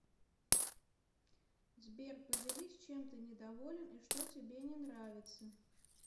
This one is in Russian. сбер поделись чем ты недоволен и что тебе не нравиться